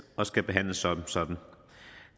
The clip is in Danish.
og skal behandles som sådan